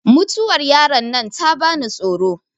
mutuwar yaron nan ta bani tsoro